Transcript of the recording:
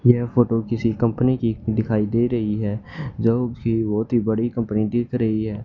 यह फोटो किसी कंपनी की दिखाई दे रहीं हैं जो की बहोत ही बड़ी कंपनी दिख रही है।